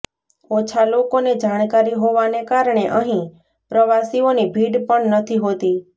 ઓછા લોકોને જાણકારી હોવાને કારણે અંહી પ્રવાસીઓની ભીડ પણ નથી હોતી